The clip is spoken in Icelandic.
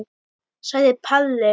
sagði Palli.